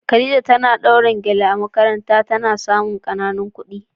Khadija tana dawrin gele a makaranta ta na samun kananan kudi.